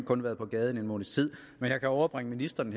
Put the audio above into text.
kun været på gaden en måneds tid men jeg kan overbringe ministeren